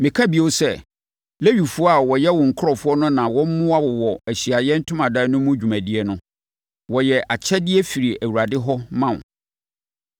Meka bio sɛ, Lewifoɔ a wɔyɛ wo nkurɔfoɔ no na wɔmmoa wo wɔ Ahyiaeɛ Ntomadan no mu dwumadie no. Wɔyɛ akyɛdeɛ firi Awurade hɔ ma wo.